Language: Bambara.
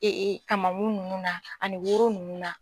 kamankun ninnu na ani woro ninnu na.